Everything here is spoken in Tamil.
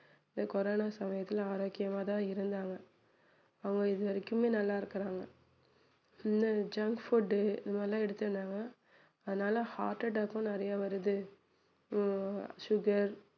கொரோனா சமயத்துல ஆரோக்கியமா தான் இருந்தாங்க அவங்க இதுவரைக்கும் நல்லா இருக்குறாங்க இல்ல இந்த junk food உ இது மாதிரி எல்லாம் எடுத்து இருந்தாங்கன்னா அதனால heart attach கும் நிறைய வருது ஆஹ் sugar